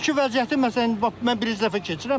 İndiki vəziyyəti məsələn indi bax mən birinci dəfə keçirəm.